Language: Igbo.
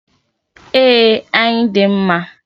E, ayi dị mma.